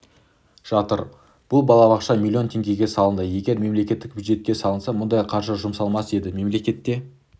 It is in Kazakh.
жатыр бұл балабақша миллион теңгеге салынды егер мемлекеттік бюджетке салынса мұндай қаржы жұмсалмас еді мемлекетке